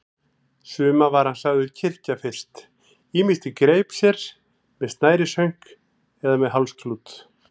Suma var hann sagður kyrkja fyrst, ýmist í greip sér, með snærishönk eða með hálsklút.